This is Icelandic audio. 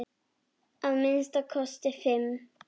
Að minnsta kosti fimm!